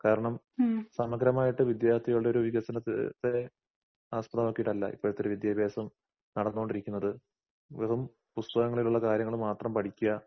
കാരണം സമഗ്രമായിട്ട് വിദ്യാർത്ഥികളുടെ വികസനത്തിന് തെ ആസ്പദമാക്കീട്ടല്ല ഇപ്പഴൊത്തൊരു വിദ്യാഭാസം നടന്നോണ്ടിരിക്കുന്നത്. വെറും പുസ്തകങ്ങളിലൊള്ളകാര്യങ്ങള് പഠിക്കുക